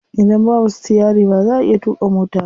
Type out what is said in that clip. Idan babu sitiyari ba za'a iya tuƙa mota ba.